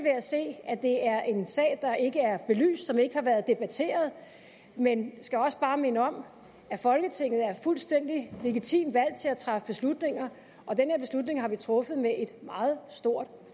at se at det er en sag der ikke er belyst og som ikke har været debatteret men jeg skal også bare minde om at folketinget er fuldstændig legitimt valgt til at træffe beslutninger og den her beslutning har vi truffet med et meget stort